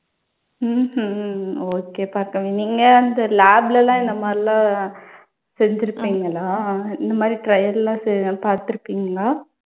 உம் உம் okay பார்கவி. நீங்க அந்த lab ல எல்லாம் இந்த மாதிரியெல்லாம் செஞ்சிருப்பீங்களா. இந்த மாதிரி trial எல்லாம் செய்து பார்த்திருக்கீங்களா?